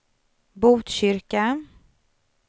Botkyrka